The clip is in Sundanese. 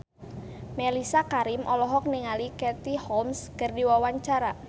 Mellisa Karim olohok ningali Katie Holmes keur diwawancara